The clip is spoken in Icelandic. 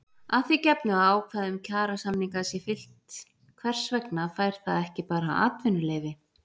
Að því gefnu að ákvæðum kjarasamninga sé fylgt hvers vegna fær það ekki bara atvinnuleyfi?